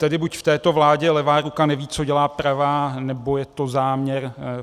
Tedy buď v této vládě levá ruka neví, co dělá pravá, nebo je to záměr.